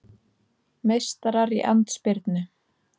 Meistarar í andspyrnu